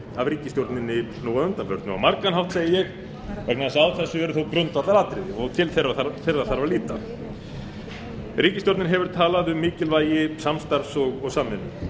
af ríkisstjórninni nú að undanförnu á margan hátt segi ég vegna þess að á þessu eru því grundvallaratriði og til þeirra þarf að líta ríkisstjórnin hefur talað um mikilvægi samstarfs og samvinnu